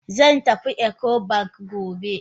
Zan tafi Ecobank gobe.